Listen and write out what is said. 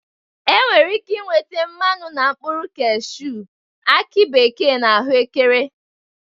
E nwere ike inweta mmanụ na mkpụrụ kashuu, aki bekee na ahụekere